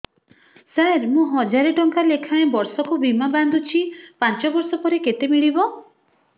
ସାର ମୁଁ ହଜାରେ ଟଂକା ଲେଖାଏଁ ବର୍ଷକୁ ବୀମା ବାଂଧୁଛି ପାଞ୍ଚ ବର୍ଷ ପରେ କେତେ ମିଳିବ